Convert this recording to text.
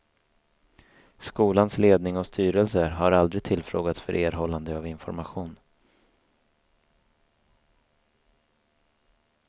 Skolans ledning och styrelse har aldrig tillfrågats för erhållande av information.